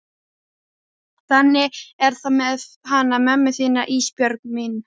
Þannig er það með hana mömmu þína Ísbjörg mín.